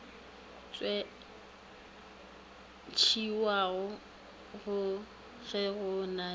tšewago ge go na le